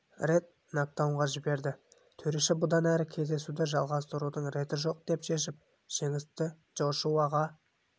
рет накдаунға жіберді төреші бұдан әрі қарай кездесуді жалғастырудың реті жоқ деп шешіп жеңісті джошуаға